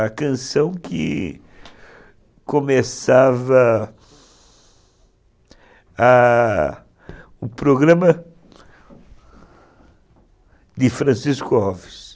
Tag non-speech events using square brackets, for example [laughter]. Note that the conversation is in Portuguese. A canção que começava a o programa de Francisco [unintelligible]